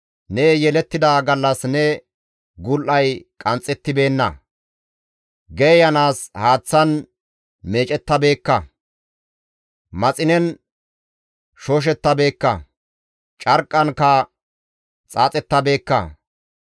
Ne yelettida gallas ne gul7ay qanxxettibeenna; geeyanaas haaththan meecettabeekka; maxinen shooshettabeekka; carqqankka xaaxettabeekka.